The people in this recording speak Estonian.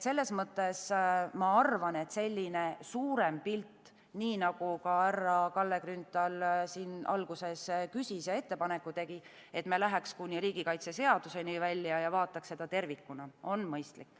Seetõttu ma arvan, et suurem pilt – nii nagu ka härra Kalle Grünthal siin alguses küsis ja ettepaneku tegi –, millega me läheks kuni riigikaitseseaduseni välja ja vaataks seda tervikuna, on mõistlik.